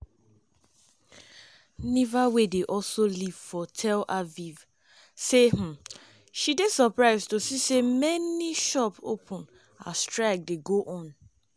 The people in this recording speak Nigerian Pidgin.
niva - wey dey also live for tel aviv - say um she dey surprised to see so many shops open as strike dey go on.